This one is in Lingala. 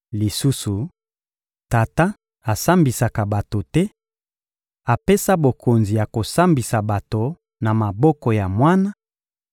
Lisusu, Tata asambisaka bato te; apesa bokonzi ya kosambisa bato na maboko ya Mwana,